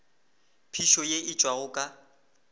phišo ye e tšwago ka